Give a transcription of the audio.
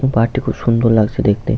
এবং পাহাড়টি খুব সুন্দর লাগছে দেখতে ।